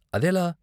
అదెలా?